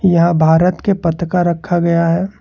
यहां भारत के पथ का रखा गया है।